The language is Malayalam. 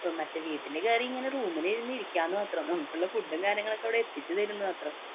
മറ്റേ വീട്ടില് കേറി ഇങ്ങനെ room ലിരുന്ന് ഇരിക്കാന്നു മാത്രം. നമുക്കുള്ള food ഉം, കാര്യങ്ങളും ഒക്കെ അവിടെ എത്തിച്ചു തരൂന്ന് മാത്രം.